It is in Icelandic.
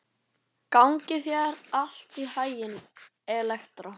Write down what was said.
Gangi þér allt í haginn, Elektra.